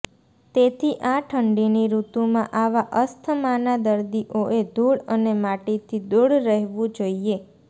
તેથી આ ઠંડીની ઋતુમાં આવા અસ્થમાના દર્દીઓએ ધૂળ અને માટીથી દૂર રહેવું જોઈએ